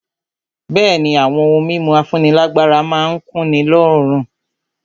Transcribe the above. Bẹ̀ẹ́ni, àwọn ohun mímu afúnílágbára má n kunni lóorun.